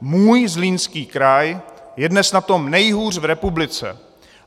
Můj Zlínský kraj je dnes na tom nejhůř v republice.